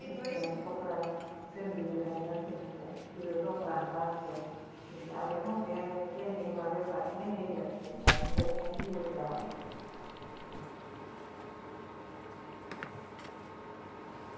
કપડાં છે ને બીજું કઈ નથી ને ત્યાં બીજું ટોપરા નો પાક છે આટલે હુ કે એને canteen વેપાર થાય ને એટલે અંદર કાંઈ નાઈ લઇ જવાનુ